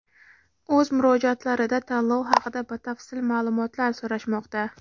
o‘z murojaatlarida tanlov haqida batafsil ma’lumotlar so‘rashmoqda.